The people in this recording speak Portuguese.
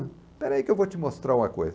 Espera aí que eu vou te mostrar uma coisa.